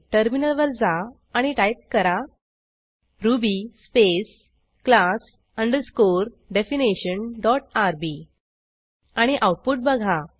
टर्मिनलवर जा आणि टाईप करा Ruby space class underscore definition dot RB आणि आऊटपुट बघा